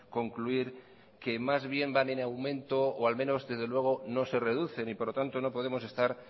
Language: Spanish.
concluir que más bien van en aumento o al menos desde luego no se reducen y por lo tanto no podemos estar